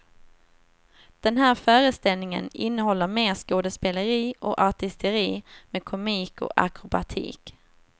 Den här föreställningen innehåller mer skådespeleri och artisteri med komik och akrobatik.